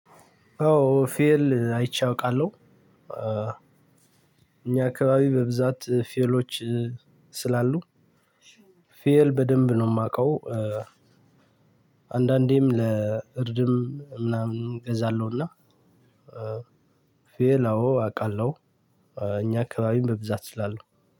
አዎ ፌል አይቼ አውቃለሁ። እኛ አካባቢ በብዛት ፌሎች ስላሉ ፌል በደንብ ነው የማውቀው። አንዳንዴም ለእርድም ምናምን እገዛለሁና። ፌል አዎ አውቃለሁ። እኛ አካባቢም በብዛት ስላለ